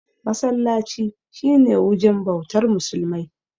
Masallaci shi ne wujen bautar musulmai.